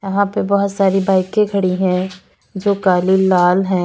यहां पे बहोत सारी बाइके खड़ी है जो काली लाल है।